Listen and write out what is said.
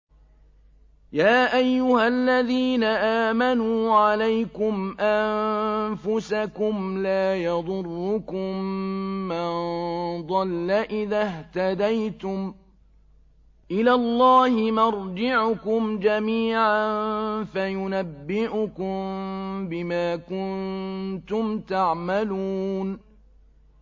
يَا أَيُّهَا الَّذِينَ آمَنُوا عَلَيْكُمْ أَنفُسَكُمْ ۖ لَا يَضُرُّكُم مَّن ضَلَّ إِذَا اهْتَدَيْتُمْ ۚ إِلَى اللَّهِ مَرْجِعُكُمْ جَمِيعًا فَيُنَبِّئُكُم بِمَا كُنتُمْ تَعْمَلُونَ